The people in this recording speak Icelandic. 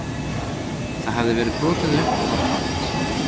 Það hafði verið brotið upp og var tómt